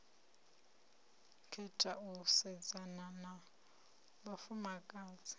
khetha u sedzana na vhafumakadzi